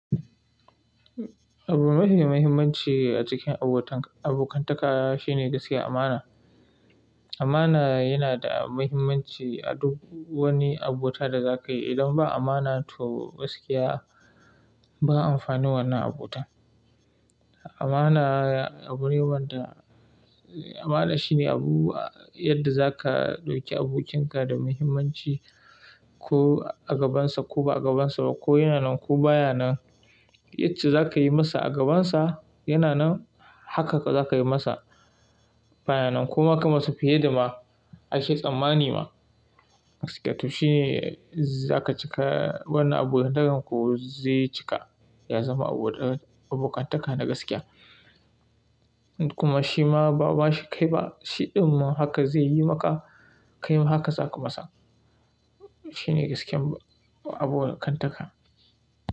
Abu mafi mahimmanci a cikin abokantaka shine gaskiya amana. Amana yana da muhimmanci a duk wani abota da za ka yi. Idan ba amana to gaskiya ba amfani wannan abota. Amana abune wanda amana shine abu yadda za ka ɗauki abokinka da muhimmanci ko a gabansa ko ba a gabansa ba ko yana nan ko baya nan. Yacce za ka yi masa a gabansa yana nan haka za ka yi masa baya nan kuma ka masa fiye da ma ashe tsammani ma gaskiya to shine za ka cika wannan abokantakan ku zai cika ya zama abokantaka na gaskiya. Kuma shi ma ba shi kai ba, shi ɗun mahaka zai yi maka, kai ma haka za ka masa. Shi ne gaskiyan abokantaka.